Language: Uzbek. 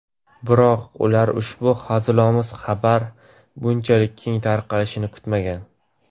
Biroq ular ushbu hazilomuz xabar bunchalik keng tarqalishini kutmagan.